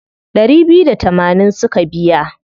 Ɗari biyu da tamanin suka biya.